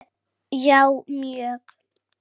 Já mjög